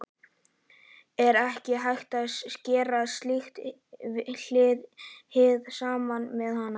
Er ekki hægt að gera slíkt hið sama með hanana?